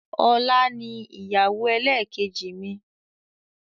Ọlá ni ìyàwó ẹlẹ́kẹ́jì mi.